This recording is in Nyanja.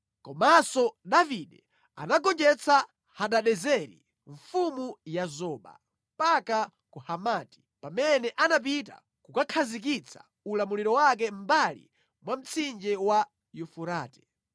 Komanso Davide anagonjetsa Hadadezeri mfumu ya Zoba, mpaka ku Hamati, pamene anapita kukakhazikitsa ulamuliro wake mʼmbali mwa mtsinje wa Yufurate.